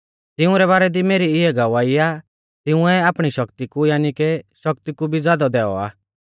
तिंउरै बारै दी मेरी इऐ गवाही आ तिंउऐ आपणी शक्ति कु यानी के शक्ति कु भी ज़ादौ दैऔ आ